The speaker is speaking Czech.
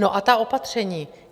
No a ta opatření...